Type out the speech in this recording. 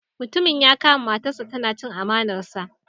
Mutumin ya kama matarsa tana chin amanarsa.